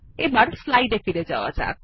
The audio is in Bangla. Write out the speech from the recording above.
এবার স্লাইডে ফিরে যাওয়া যাক